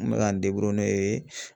An bɛ k'an n'o ye.